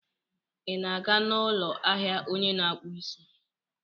Ị na-aga n'ụlọ ahịa onye na-akpụ isi?